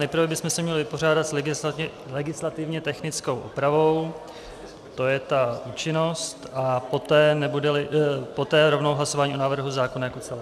Nejprve bychom se měli vypořádat s legislativně technickou úpravou, to je ta účinnost, a poté rovnou hlasování o návrhu zákona jako celku.